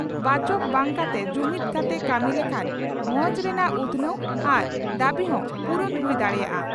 ᱵᱟᱪᱚᱠ ᱵᱟᱝᱠᱟᱛᱮ ᱡᱩᱢᱤᱫᱽ ᱠᱟᱛᱮ ᱠᱟᱹᱢᱤ ᱞᱮᱠᱷᱟᱱ ᱵᱷᱚᱸᱡᱽ ᱨᱮᱱᱟᱜ ᱩᱛᱷᱱᱟᱹᱣ ᱟᱨ ᱫᱟᱹᱵᱤ ᱦᱚᱸ ᱯᱩᱨᱩᱱ ᱦᱩᱭ ᱫᱟᱲᱮᱭᱟᱜᱼᱟ ᱾